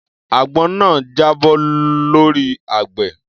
Àgbọn náà jábọ́ lọ́rí àgbẹ̀.